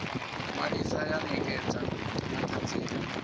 ṅwalisa ya ṋekedza na ṱhanziela